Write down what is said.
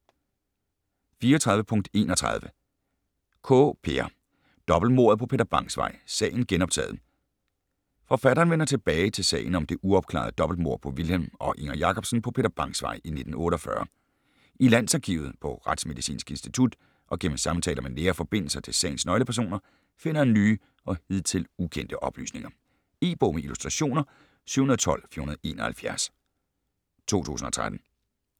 34.31 Kaae, Peer: Dobbeltmordet på Peter Bangs Vej: sagen genoptaget Forfatteren vender tilbage til sagen om det uopklarede dobbeltmord på Vilhelm og Inger Jacobsen på Peter Bangs Vej i 1948. I Landsarkivet, på Retsmedicinsk Institut og gennem samtaler med nære forbindelser til sagens nøglepersoner finder han nye og hidtil ukendte oplysninger. E-bog med illustrationer 712471 2013.